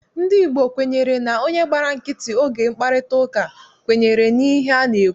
Ndị Igbo kwenyere na onye gbara nkịtị oge mkparịtaụka, kwenyere n'ihe a na-ekwu.